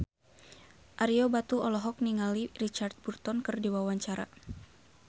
Ario Batu olohok ningali Richard Burton keur diwawancara